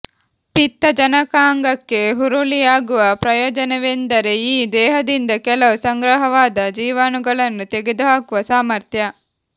ಪಿತ್ತಜನಕಾಂಗಕ್ಕೆ ಹುರುಳಿಯಾಗುವ ಪ್ರಯೋಜನವೆಂದರೆ ಈ ದೇಹದಿಂದ ಕೆಲವು ಸಂಗ್ರಹವಾದ ಜೀವಾಣುಗಳನ್ನು ತೆಗೆದುಹಾಕುವ ಸಾಮರ್ಥ್ಯ